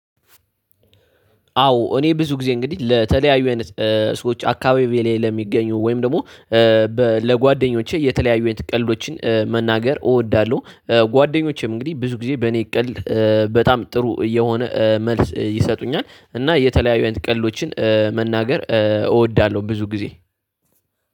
አዎ እኔ ብዙ ጊዜ እንግዲህ ለተለያዩ አይነት ሰዎች አካባቢዬ ለሚገኙ ወይም ደግሞ ለጓደኞቼ የተለያዩ አይነት ቀልዶችን መናገር እወዳለሁ። ጓደኞቼም እንግዲህ ብዙ ጊዜ በእኔ ቀልድ በጣም ጥሩ የሆነ መልስ ይሰጡኛል። እና የተለያዩ አይነት ቀልዶችን መናገር እወዳለሁ ብዙ ጊዜ።